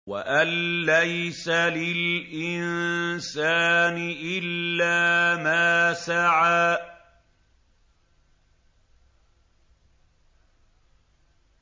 وَأَن لَّيْسَ لِلْإِنسَانِ إِلَّا مَا سَعَىٰ